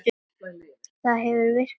Það hefur virkað hingað til.